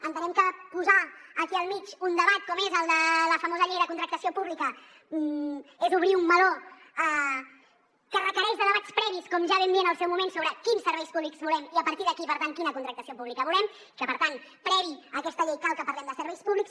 entenem que posar aquí al mig un debat com és el de la famosa llei de contractació pública és obrir un meló que requereix debats previs com ja vam dir en el seu moment sobre quins serveis públics volem i a partir d’aquí per tant quina contractació pública volem i que per tant prèviament a aquesta llei cal que parlem de serveis públics